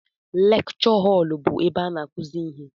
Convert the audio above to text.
Lekchọ họl bụ ebe a n'akụzi ihe.